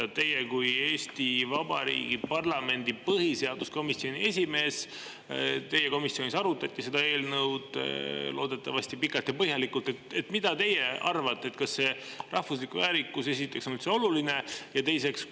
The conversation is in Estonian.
Mida teie kui Eesti Vabariigi parlamendi põhiseaduskomisjoni esimees – teie komisjonis arutati seda eelnõu, loodetavasti pikalt ja põhjalikult – arvate, kas rahvuslik väärikus on üldse oluline?